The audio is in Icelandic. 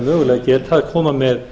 mögulega geta að koma með